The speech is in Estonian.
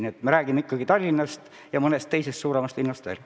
Nii et me räägime ikkagi Tallinnast ja mõnest teisest suuremast linnast veel.